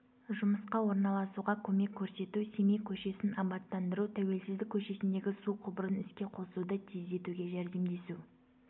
жұмысқа орналасуға көмек көрсету семей көшесін абаттандыру тәуелсіздік көшесіндегі су құбырын іске қосуды тездетуге жәрдемдесу